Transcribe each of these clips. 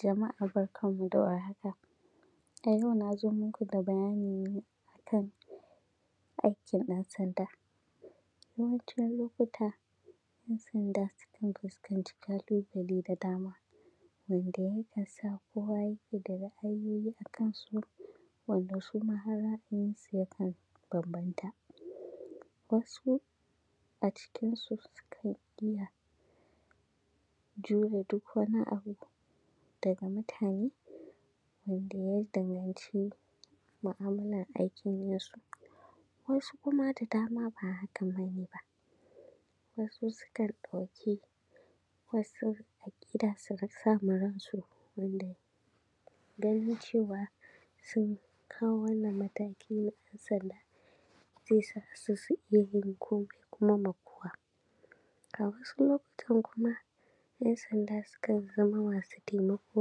Jama’a barkan mu da warhaka, a yau na zo muku da bayani ne a kan aikin ɗansanda Yawancin lokuta ‘yansanda sukan fuskanci ƙalubale da dama wanda yake sa kowa yake da ra’ayoyi a kan su wanda su ma har ra’ayinsu yakan bambanta, wasu a cikin su sukan iya jure duk wani abu daga mutane wanda ya danganci mu’amalar aikin nasu wasu kuma da dama ba hakan ba ne ba, wasu sukan ɗauki wasu aƙida su sa ma ransu wanda ganin cewa sun kawo wannan mataki na ɗansanda zai sa su su iya yin komai kuma ma kowa. A wasu lokutan kuma ‘yansanda su kan zama masu taimako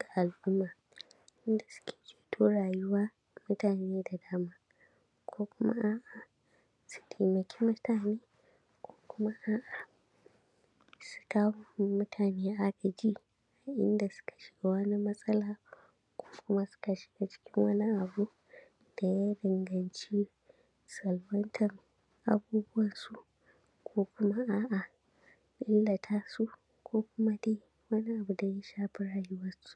ga al’umma inda suke ceto rayuwar mutane da dama ko kuma a’a su taimaki mutane ko kuma a’a su kawo ma mutane agaji a inda suka shiga wani matsala ko kuma suka shiga cikin wani abu da ya danganci salwantar abubuwansu, ko kuma a’a illata su, ko kuma dai wani abu da ya shafi rayuwarsu.